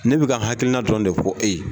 Ne bi ka n hakilina dɔrɔn de fɔ e ye.